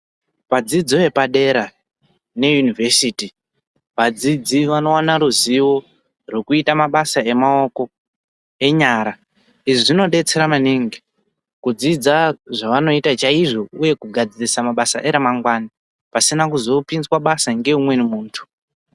Vadzidzi vepadera neyunivhesiti vadzidzi vanowana ruzivo rekuita mabasa emaoko enyara izvi zvinodetseredza maningi kudzidza zvavanoita chaizvo uye kugadzirisa mbasa eramangwani pasina kuzopinzwa mabasa neumweni muntu.